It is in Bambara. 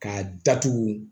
K'a datugu